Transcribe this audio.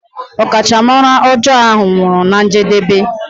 Ọkachamara ọjọọ ahụ nwụrụ na njedebe.